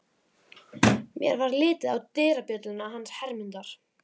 Mér varð litið á dyrabjölluna hans Hermundar.